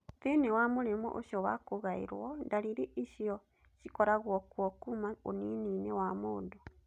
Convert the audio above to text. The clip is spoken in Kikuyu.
Thĩinĩ wa mũrimũ ũcio wa kũgairũo, ndariri icio cikoragwo kuo kuuma ũnini-inĩ wa mũndũ.